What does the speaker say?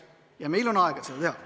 Ja meil on aega seda teha.